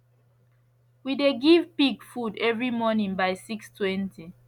we dey give pig food every morning by 620